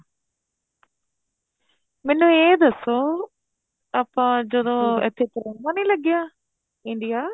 ਮੈਨੂੰ ਇਹ ਦੱਸੋ ਆਪਾਂ ਜਦੋਂ ਇੱਥੋਂ ਕਰੋਨਾ ਨੀ ਲੱਗਿਆ India